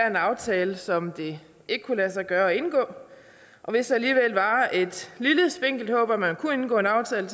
en aftale som det ikke kunne lade sig gøre at indgå hvis der alligevel var et lille spinkelt håb om at man kunne indgå en aftale